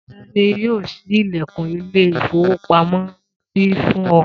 Ta ni yóò ṣí ilẹ̀kùn ilé-ìfowópamọ́sí fún ọ?